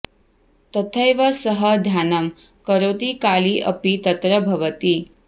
तथैव सः ध्यानं करोति काली अपि तत्र भवति